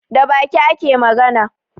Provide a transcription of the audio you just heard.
Da baki ake magana